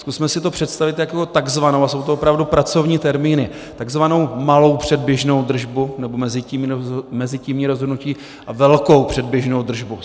Zkusme si to představit jako takzvanou - a jsou to opravdu pracovní termíny - takzvanou malou předběžnou držbu, nebo mezitímní rozhodnutí a velkou předběžnou držbu.